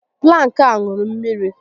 Plank a ṅụrụ mmiri